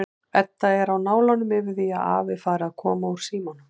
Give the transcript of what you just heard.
Edda er á nálum yfir því að afi fari að koma úr símanum.